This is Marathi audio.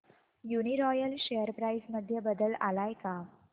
यूनीरॉयल शेअर प्राइस मध्ये बदल आलाय का